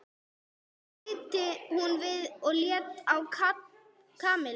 bætti hún við og leit á Kamillu.